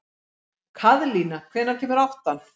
Kaðlín, hvenær kemur áttan?